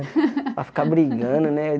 Para ficar brigando, né?